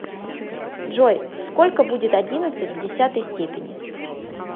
джой сколько будет одиннадцать в десятой степени